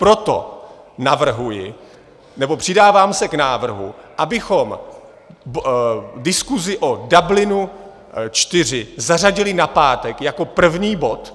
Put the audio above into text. Proto navrhuji, nebo přidávám se k návrhu, abychom diskusi o Dublinu IV zařadili na pátek jako první bod.